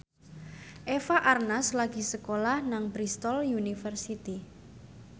Eva Arnaz lagi sekolah nang Bristol university